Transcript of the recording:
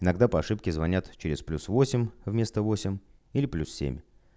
иногда по ошибке звонят через плюс восемь вместо восемь или плюс семь